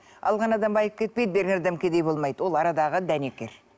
алған адам байып кетпейді берген адам кедей болмайды ол арадағы дәнекер